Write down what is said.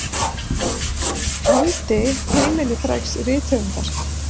andi heimili frægs rithöfundar.